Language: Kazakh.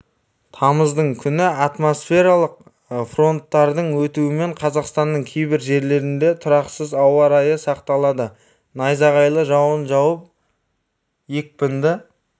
тамыздың күні атмосфералық фронттардың өтуімен қазақстанның кейбір жерлерінде тұрақсыз ауа райы сақталады найзағайлы жауын жауып екпінді